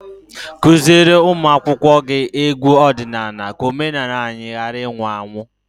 Teach your pupils folk songs so that our culture will not die.